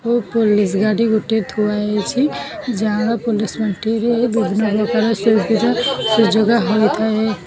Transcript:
police ଗାଡି ଗୋଟେ ଥୁଆ ହେଇଚି ଯାହାର ପୋଲିସ୍ ପାଣ୍ଠି ରେ ବିଭିନ୍ନ ପ୍ରକାର ସୁବିଧା ସୁଯୋଗ --